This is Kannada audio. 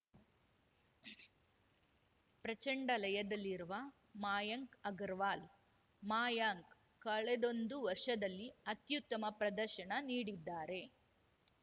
ಪ್ರಚಂಡ ಲಯದಲ್ಲಿರುವ ಮಯಾಂಕ್‌ ಅಗರ್‌ವಾಲ್‌ ಮಯಾಂಕ್‌ ಕಳೆದೊಂದು ವರ್ಷದಲ್ಲಿ ಅತ್ಯುತ್ತಮ ಪ್ರದರ್ಶನ ನೀಡಿದ್ದಾರೆ